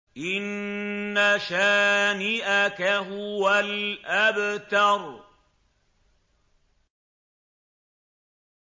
إِنَّ شَانِئَكَ هُوَ الْأَبْتَرُ